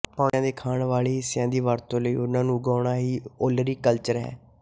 ਪੌਦਿਆਂ ਦੇ ਖਾਣ ਵਾਲੇ ਹਿੱਸਿਆਂ ਦੀ ਵਰਤੋਂ ਲਈ ਓਹਨਾਂ ਨੂੰ ਉਗਾਉਣਾ ਹੀ ਓਲਰੀਕਲਚਰ ਹੈ